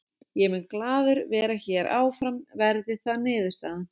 Ég mun glaður vera hér áfram verði það niðurstaðan.